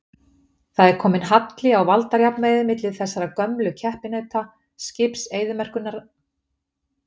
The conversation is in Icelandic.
Það er kominn halli á valdajafnvægið milli þessara gömlu keppinauta, skips eyðimerkurinnar og hafskipsins.